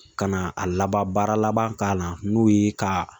Ka na a labaara laban k'a la n'o ye ka